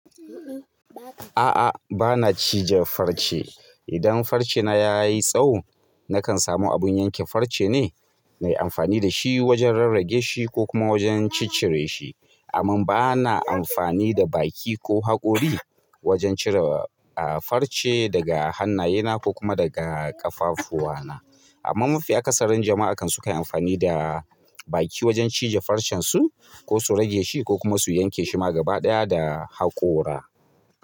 A'a, ba na cije farce. Idan farce na ya yi tsawo, nakan samu abun yanke farce ne, na yi amfani da shi wajen rarrage shi ko kuma wajen cicire shi. Amma ba na amfani da baki ko haƙori wajen cire, farce daga hannaye na ko kuma daga ƙafafuwa na. Amma mafi a kasarin jama'a kan sukanyi amfani da baki wajen cije farcen su ko su rage shi ko kuma su yanke shi ma gaba ɗaya da haƙora.